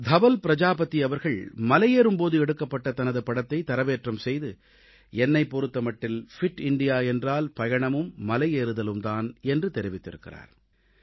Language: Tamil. தவல் பிரஜாபதி அவர்கள் மலையேறும் போது எடுக்கப்பட்ட தனது படத்தைத் தரவேற்றம் செய்து என்னைப் பொறுத்த மட்டில் ஃபிட் இந்தியா என்றால் பயணமும் மலையேறுதலும் தான் என்று தெரிவித்திருக்கிறார்